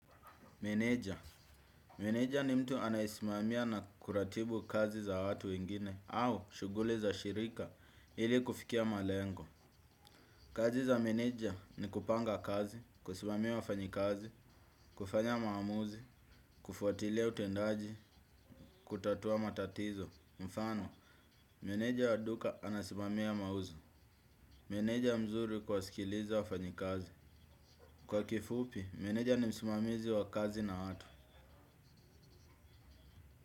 Meneja. Meneja ni mtu anayesimamia na kuratibu kazi za watu wengine au shughuli za shirika ili kufikia malengo. Kazi za meneja ni kupanga kazi, kusimamia wafanyikazi, kufanya maamuzi, kufuatilia utendaji, kutatua matatizo, mfano. Meneja wa duka anasimamia mauzo. Meneja mzuri kuwasikiliza wafanyikazi. Kwa kifupi, meneja ni msimamizi wa kazi na watu.